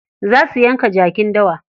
Za su yanka jakin dawa.